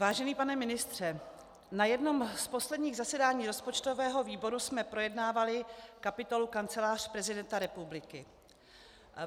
Vážený pane ministře, na jednom z posledních zasedání rozpočtového výboru jsme projednávali kapitolu Kancelář prezidenta republiky.